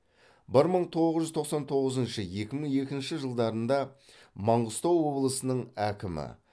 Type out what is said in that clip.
бір мың тоғыз жүз тоқсан тоғызыншы екі мың екінші жылдарында маңғыстау облысының әкімі